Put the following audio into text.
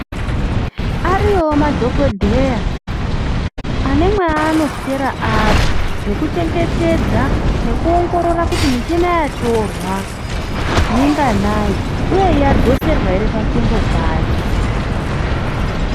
Ariyowo madhokodheya ane mwaanoswera ari, nekuchengetedza nekuongorora kuti michina yatorwa minganayi, uye yadzoserwa here panzvimbo payo.